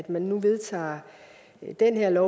man nu vedtager det her